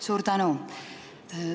Suur tänu!